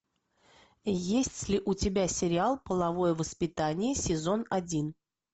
есть ли у тебя сериал половое воспитание сезон один